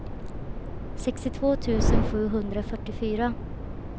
sextiotvå tusen sjuhundrafyrtiofyra